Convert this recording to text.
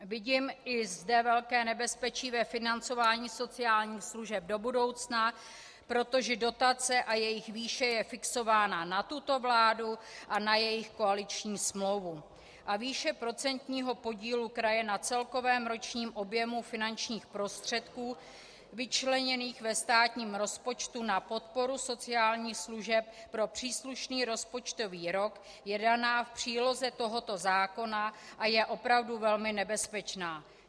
Vidím i zde velké nebezpečí ve financování sociálních služeb do budoucna, protože dotace a jejich výše je fixována na tuto vládu a na jejich koaliční smlouvu, a výše procentního podílu kraje na celkovém ročním objemu finančních prostředků vyčleněných ve státním rozpočtu na podporu sociálních služeb pro příslušný rozpočtový rok je daná v příloze tohoto zákona a je opravdu velmi nebezpečná.